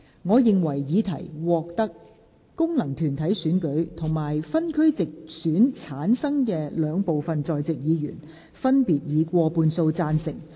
我認為議題獲得經由功能團體選舉產生及分區直接選舉產生的兩部分在席議員，分別以過半數贊成。